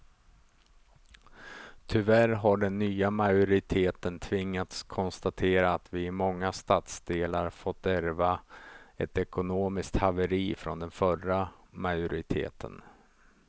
Tyvärr har den nya majoriteten tvingats konstatera att vi i många stadsdelar fått ärva ett ekonomiskt haveri från den förra majoriteten.